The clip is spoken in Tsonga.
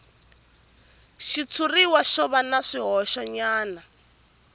xitshuriwa xo va na swihoxonyana